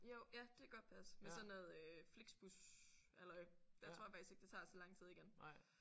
Jo ja det kan godt passe med sådan noget Flixbushalløj der tror jeg faktisk ikke det tager så lang tid igen